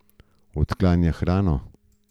Odklanja hrano.